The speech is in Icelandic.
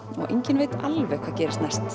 og enginn veit alveg hvað gerist næst